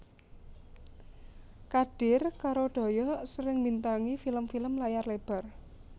Kadir karo Doyok sering mbintangi film film layar lebar